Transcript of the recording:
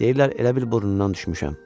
Deyirlər elə bil burnundan düşmüşəm.